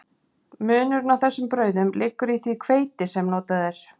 Munurinn á þessum brauðum liggur í því hveiti sem notað er.